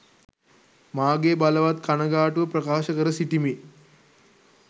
මාගේ බලවත් කණගාටුව ප්‍රකාශ කර සිටිමි.